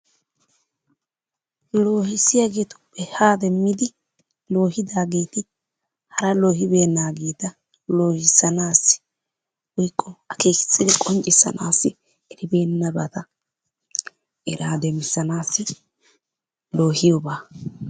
Loohisiyagetuppe haa demiddi loohidagetti hara loobenagetta woyko akekisiddi qonccisanassi, erri benabattaa eraa demisanassi loohiyobbaa.